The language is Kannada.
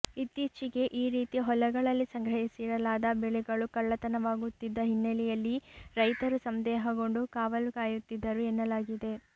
ಇತ್ತೀಚೆಗೆ ಈ ರೀತಿ ಹೊಲಗಳಲ್ಲಿ ಸಂಗ್ರಹಿಸಿಡಲಾದ ಬೆಳೆಗಳು ಕಳ್ಳತನವಾಗುತ್ತಿದ್ದ ಹಿನ್ನೆಲೆಯಲ್ಲಿ ರೈತರು ಸಂದೇಹಗೊಂಡು ಕಾವಲು ಕಾಯುತ್ತಿದ್ದರು ಎನ್ನಲಾಗಿದೆ